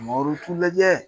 Maa lajɛ.